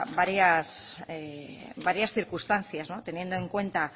varias circunstancias teniendo en cuenta